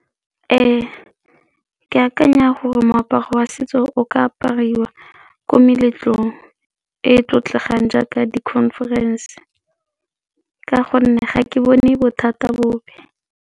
Ke akanya gore moaparo wa setso o ka apariwa ko meletlong e e tlotlegang jaaka di-conference ka gonne ga ke bone bothata bope.